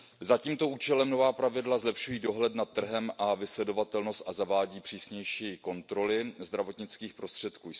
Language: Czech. Za tímto účelem nová pravidla zlepšují dohled nad trhem a vysledovatelnost a zavádí přísnější kontroly zdravotnických prostředků.